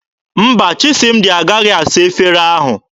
Mba, Chisịmdị agaghị asa efere ahụ.